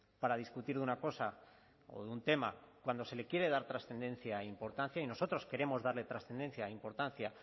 para discutir de una cosa o de un tema cuando se le quiere dar trascendencia e importancia y nosotros queremos darle trascendencia e importancia